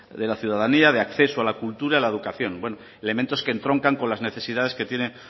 de la ciudadanía de acceso a la cultura y la educación elementos que entroncan con las necesidades que tiene